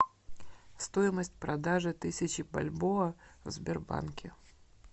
стоимость продажи тысячи бальбоа в сбербанке